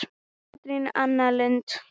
Katrín Anna Lund.